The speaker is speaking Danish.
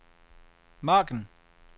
margen